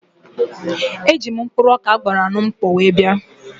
Eji m mkpụrụ ọkà a gbara na mkpọ bịa.